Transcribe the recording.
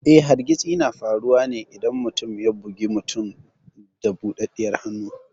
Eh, hargitsi na faruwa ne idan mutum ya bugi wani mutum da budaddiyar hannu.